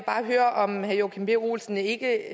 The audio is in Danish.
bare høre om herre joachim b olsen ikke